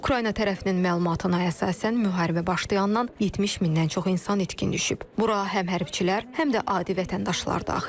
Ukrayna tərəfinin məlumatına əsasən müharibə başlayandan 70 mindən çox insan itkin düşüb, bura həm hərbçilər, həm də adi vətəndaşlar daxildir.